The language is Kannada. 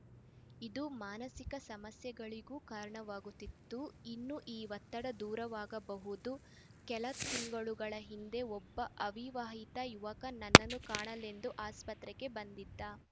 ಇದು ಮಾನಸಿಕ ಸಮಸ್ಯೆಗಳಿಗೂ ಕಾರಣವಾಗುತ್ತಿತ್ತು ಇನ್ನು ಈ ಒತ್ತಡ ದೂರವಾಗಬಹುದು ಕೆಲ ತಿಂಗಳುಗಳ ಹಿಂದೆ ಒಬ್ಬ ಅವಿವಾಹಿತ ಯುವಕ ನನ್ನನ್ನು ಕಾಣಲೆಂದು ಆಸ್ಪತ್ರೆಗೆ ಬಂದಿದ್ದ